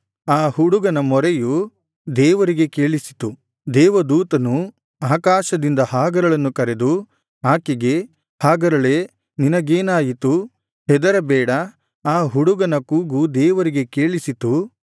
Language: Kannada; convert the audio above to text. ಆ ಹುಡುಗನ ಮೊರೆಯು ದೇವರಿಗೆ ಕೇಳಿಸಿತು ದೇವದೂತನು ಆಕಾಶದಿಂದ ಹಾಗರಳನ್ನು ಕರೆದು ಆಕೆಗೆ ಹಾಗರಳೇ ನಿನಗೇನಾಯಿತು ಹೆದರಬೇಡ ಆ ಹುಡುಗನ ಕೂಗು ದೇವರಿಗೆ ಕೇಳಿಸಿತು